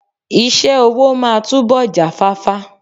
Iṣẹ́ ọwọ́ máa túbọ̀ jáfáfá.